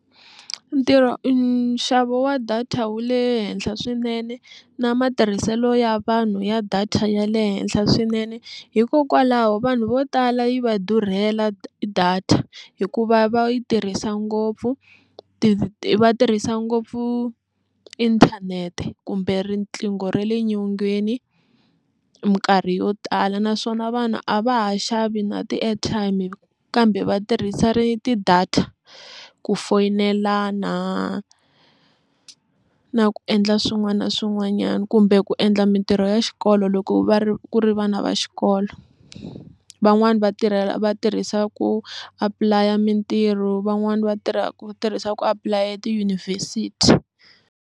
Ntirho nxavo wa data wu le henhla swinene na matirhiselo ya vanhu ya data ya le henhla swinene hikokwalaho vanhu vo tala yi va durhela data hikuva va yi tirhisa ngopfu va tirhisa ngopfu inthanete kumbe riqingho ra le nyongeni minkarhi yo tala naswona vanhu a va ha xavi na ti-airtime kambe va tirhisa ri ti-data ku foyinela na ku endla swin'wana na swin'wanyana kumbe ku endla mintirho ya xikolo loko va ri ku ri vana va xikolo, van'wani va tirha va tirhisa ku apulaya mintirho van'wani va tirha va tirhisa ku apulaya tiyunivhesiti.